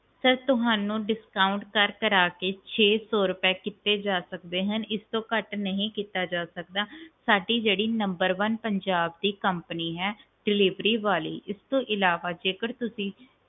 sir ਤੁਹਾਨੂੰ discount ਕਰ ਕਰ ਕੇ ਛੇ ਸੌ ਰੁਪਏ ਕੀਤੇ ਜਾ ਸਕਦੇ ਹਨ ਇਸ ਤੋਂ ਘਾਟ ਨਹੀਂ ਕੀਤਾ ਜਾ ਸਕਦਾ ਸਾਡੀ ਜਿਹੜੀ numberone ਪੰਜਾਬ ਦੀ company ਹੈ delivery ਵਾਲੀ ਇਸ ਤੋਂ ਅਲਾਵਾ ਜੇਕਰ ਤੁਸੀਂ